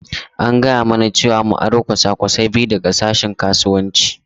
An gaya mana cewa mu aro kwasa-kwasai biyu daga sashen Kasuwanci.